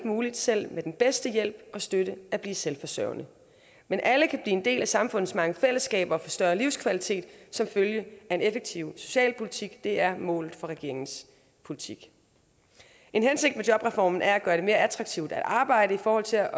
muligt selv med den bedste hjælp og støtte at blive selvforsørgende men alle kan blive en del af samfundets mange fællesskaber og få større livskvalitet som følge af en effektiv socialpolitik det er målet for regeringens politik en hensigt med jobreformen er at gøre det mere attraktivt at arbejde i forhold til at